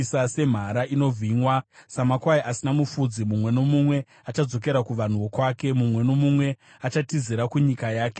Semhara inovhimwa, samakwai asina mufudzi, mumwe nomumwe achadzokera kuvanhu vokwake, mumwe nomumwe achatizira kunyika yake.